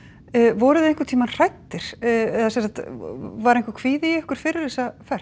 voruð þið einhvern tímann hræddir eða sem sagt var einhver kvíði í ykkur fyrir þessa ferð